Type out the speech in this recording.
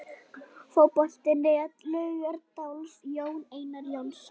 Fótbolti.net, Laugardalsvelli- Jón Einar Jónsson.